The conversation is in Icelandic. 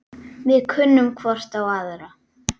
Við kunnum hvor á aðra.